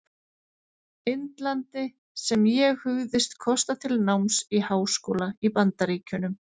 Indlandi, sem ég hugðist kosta til náms í háskóla í Bandaríkjunum.